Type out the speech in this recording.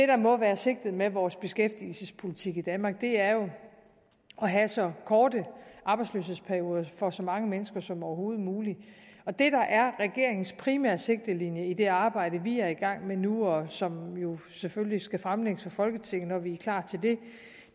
der må være sigtet med vores beskæftigelsespolitik i danmark er jo at have så korte arbejdsløshedsperioder for så mange mennesker som overhovedet muligt og det der er regeringens primære sigtelinje i det arbejde vi er i gang med nu og som selvfølgelig skal fremlægges for folketinget når vi er klar til det